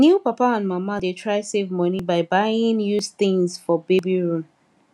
new papa and mama dey try save money by buying used things for baby room